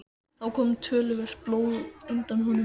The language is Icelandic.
Þá kom töluvert blóð undan honum.